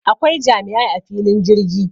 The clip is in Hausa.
Akwai jami'ai a filin jirgi